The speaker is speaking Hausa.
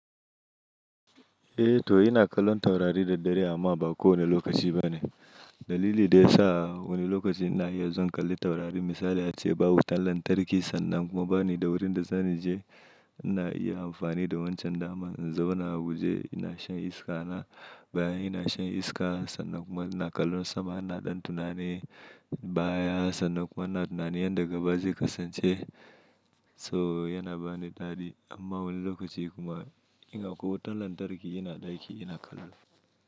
Eh to ina kallon taurari da dare amma ba kowane lokaci ba ne. Dalili da ya sa wani lokaci ina iya zuwan kalli taurari misali ace babu wutan lantarki sannan kuma bani da wurin da zani je. Ina iya amfani da wancan daman in zauna a wuje, ina shan iska na bayan ina shan iska sannan kuma ina kallon sama, ina ɗan tunani baya sannan kuma ina tunanin yanda gaba zai kasance. To yana bani dadi amma wani lokaci kuma in akwai wutan lantarki ina ɗaki ina kallo.